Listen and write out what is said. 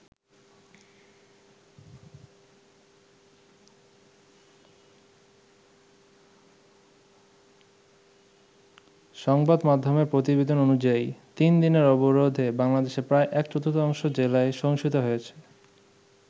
সংবাদ মাধ্যমের প্রতিবেদন অনুযায়ী, তিন দিনের অবরোধে বাংলাদেশের প্রায় এক-চতুর্থাংশ জেলায় সহিংসতা হয়েছে।